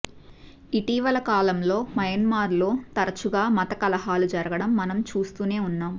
ఇటీవల కాలంలో మయన్మార్లో తరచుగా మత కలహాలు జరగడం మనం చూస్తూనే ఉన్నాం